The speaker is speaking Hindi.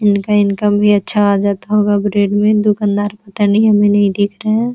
इनका इनकम भी अच्छा आ जाता होगा ब्रेड में दुकानदार पता नहीं अभी नहीं दिख रहे हैं।